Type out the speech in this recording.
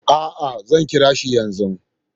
A'a, zan kira shi yanzu.